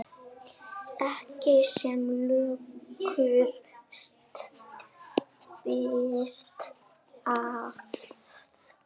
Ekki sem lökust býti það.